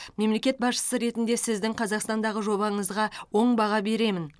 мемлекет басшысы ретінде сіздің қазақстандағы жобаңызға оң баға беремін